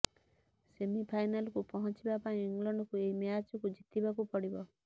ସେମିଫାଇନାଲକୁ ପହଁଚିବା ପାଇଁ ଇଂଲଣ୍ଡକୁ ଏହି ମ୍ୟାଚକୁ ଜିତିବାକୁ ପଡିବ